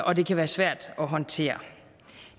og det kan være svært at håndtere